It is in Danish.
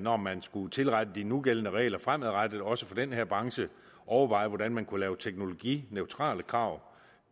når man skulle tilrette de nugældende regler fremadrettet også for den her branche overveje hvordan man kunne lave teknologineutrale krav